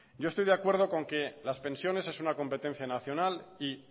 yo estoy de acuerdo con que las pensiones es una competencia nacional y